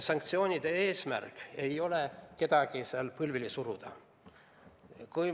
Sanktsioonide eesmärk ei ole kedagi põlvili suruda.